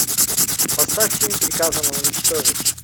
поставь фильм приказано уничтожить